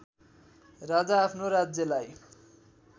राजा आफ्नो राज्यलाई